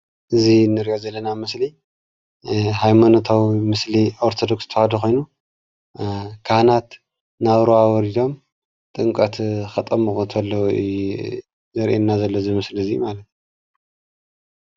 እዚ እንሪኦ ዘለና ምስሊ ሃይማኖታዊ ምስሊ ኦርቶዶክስ ተዋህዶ ኾይኑ ካህናት ናብ ሩባ ወሪዶም ጥምቀት ከጠምቁ ተለው እዩ ዘርእየና ዘሎ ዝምስሊ እዚ ማለት።